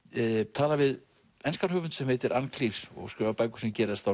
tala við enskan höfund sem heitir ann og skrifar bækur sem gerast á